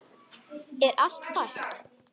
Er allt fast?